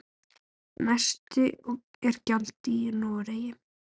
Hæst er gjaldið í Noregi.